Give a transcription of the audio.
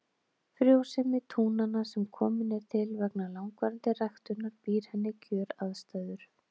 Frjósemi túnanna sem komin er til vegna langvarandi ræktunar býr henni kjöraðstæður.